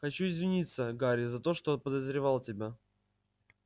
хочу извиниться гарри за то что подозревал тебя